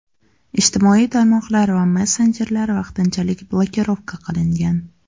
Ijtimoiy tarmoqlar va messenjerlar vaqtinchalik blokirovka qilingan.